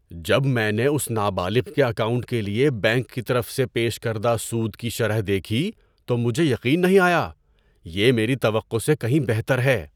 ‏جب میں نے اس نابالغ کے اکاؤنٹ کے لیے بینک کی طرف سے پیش کردہ سود کی شرح دیکھی تو مجھے یقین نہیں آیا! یہ میری توقع سے کہیں بہتر ہے۔